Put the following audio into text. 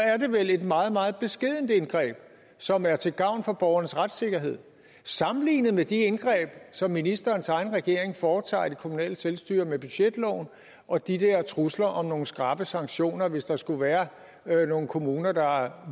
er det vel et meget meget beskedent indgreb som er til gavn for borgernes retssikkerhed sammenlignet med de indgreb som ministerens egen regering foretager i det kommunale selvstyre med budgetloven og de der trusler om nogle skrappe sanktioner hvis der skulle være nogle kommuner der